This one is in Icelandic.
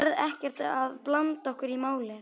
Þú ferð ekkert að blanda okkur í málið?